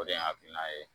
O de ye hakilina ye